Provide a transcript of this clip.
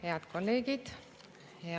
Head kolleegid!